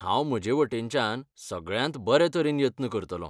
हांव म्हजेवटेनच्यान सगळ्यांत बरेतरेन यत्न करतलों.